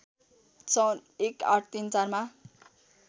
सन् १८३४ मा